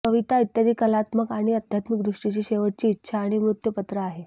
कविता इत्यादी कलात्मक आणि अध्यात्मिक दृष्टीची शेवटची इच्छा आणि मृत्युपत्र आहे